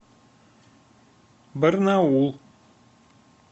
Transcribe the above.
барнаул